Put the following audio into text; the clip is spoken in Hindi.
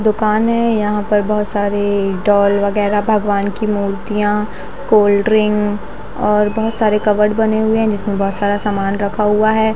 दुकान है यहाँ पर बहुत सारे डॉल वगेरा भगवान की मूर्तियाँ कोल्ड्रिंग और बहुत सारे कबर्ड बने हुए है जिसमे बहुत सारा सामान रखा हुआ है।